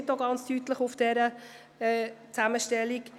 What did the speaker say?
Es steht deutlich in dieser Zusammenstellung: